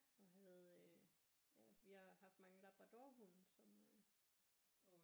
Og havde øh ja vi har haft mange labradorhunde som øh